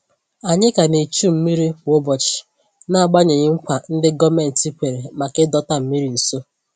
Ànyị ka ná echu mmiri kwa ụbọchị n'agbanyeghị nkwa ndi gọọmenti kwèrè maka ịdọta mmiri nso